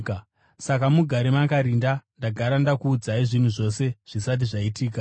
Saka mugare makarinda; ndagara ndakuudzai zvinhu zvose zvisati zvaitika.